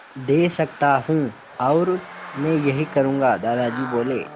दे सकता हूँ और मैं यही करूँगा दादाजी बोले